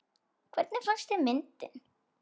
Hvernig fannst þér myndin?